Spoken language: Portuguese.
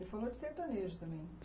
falou de sertanejo também.